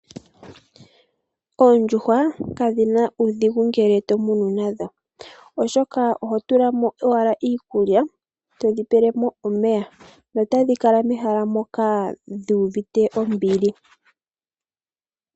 Oondjuhwa kadhi na uudhigu ngele todhi munu oshoka oho tulamo owala iikulya to dhi pelemo omeya nota dhi kala mehala moka dhuuvite ombili.